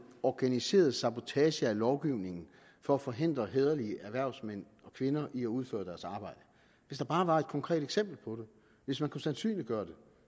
organiseret sabotage af lovgivningen for at forhindre hæderlige erhvervsmænd og kvinder i at udføre deres arbejde hvis der bare var et konkret eksempel på det hvis man kunne sandsynliggøre det